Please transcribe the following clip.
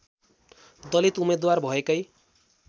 दलित उम्मेदवार भएकै